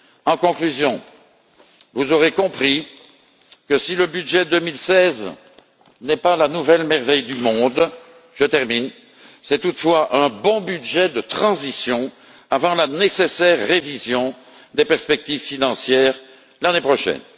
En conclusion, vous aurez compris que si le budget 2016 n'est pas la nouvelle merveille du monde, c'est toutefois un bon budget de transition avant la nécessaire révision des perspectives financières l'année prochaine.